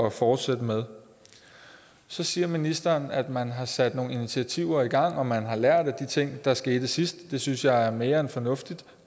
at fortsætte med så siger ministeren at man har sat nogle initiativer i gang og at man har lært af de ting der skete sidst det synes jeg er mere end fornuftigt